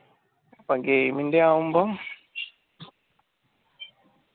അപ്പൊ game ഇൻറെ ആകുമ്പം